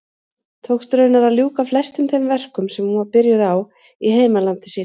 Tókst raunar að ljúka flestum þeim verkum sem hún var byrjuð á í heimalandi sínu.